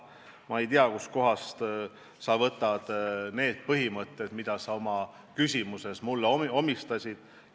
Ma ei tea, kust kohast sa võtad need põhimõtted, mida sa oma küsimuses mulle omistasid.